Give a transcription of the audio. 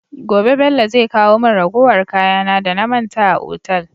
Gobe Bello zai kawo mun ragowar kaya na da na manta a otal